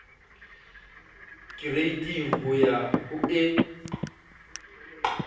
kereiting ho ya ho e